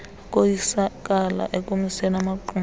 ukoyisakala ekumiseni amaqumrhu